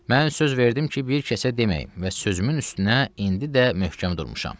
Mən söz verdim ki, bir kəsə deməyim və sözümün üstünə indi də möhkəm durmuşam.